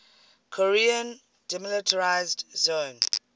korean demilitarized zone